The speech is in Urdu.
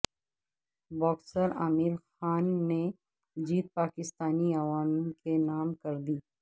باکسر عامر خان نے جیت پاکستانی عوام کے نام کردی